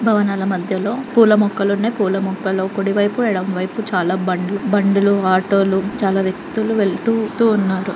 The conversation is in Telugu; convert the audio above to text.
భవనాల మధ్యలో పూల మొక్కలు ఉన్నాయి. పూల మొక్కల్లో కుడివైపు ఎడమవైపు చాలా బండ్ లు బండ్ లుఆటోలు చాలా వ్యక్తులు వెళ్తూ తు ఉన్నారు.